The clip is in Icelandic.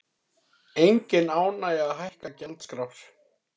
Engin ánægja að hækka gjaldskrár